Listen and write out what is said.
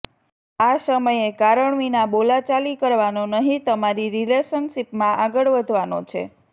આ સમયે કારણ વિના બોલાચાલી કરવાનો નહીં તમારી રિલેશનશીપમાં આગળ વધવાનો છે